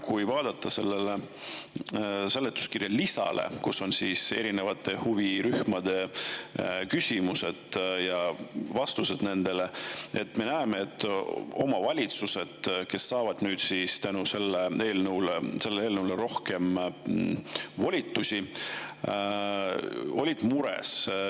Kui vaadata seletuskirja lisa, kus on erinevate huvirühmade küsimused ja vastused nendele, siis me näeme, et omavalitsused, kes saavad nüüd eelnõu kohaselt rohkem volitusi, on mures.